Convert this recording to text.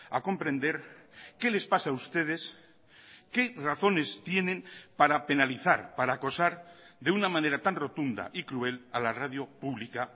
a comprender qué les pasa a ustedes qué razones tienen para penalizar para acosar de una manera tan rotunda y cruel a la radio pública